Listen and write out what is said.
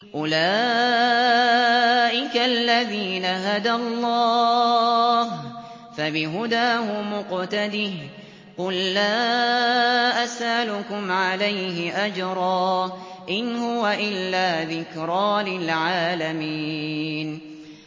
أُولَٰئِكَ الَّذِينَ هَدَى اللَّهُ ۖ فَبِهُدَاهُمُ اقْتَدِهْ ۗ قُل لَّا أَسْأَلُكُمْ عَلَيْهِ أَجْرًا ۖ إِنْ هُوَ إِلَّا ذِكْرَىٰ لِلْعَالَمِينَ